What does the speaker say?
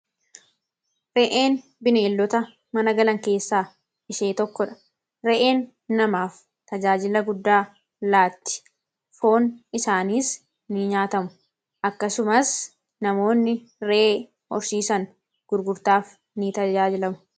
re'een bineeldoota mana galan keessaa ishee tokko dha re'een namaaf tajaajila guddaa laatti foon isaaniis ni nyaatamu akkasumas namoonni re'ee horsiisan gurgurtaaf ni tajaajilamu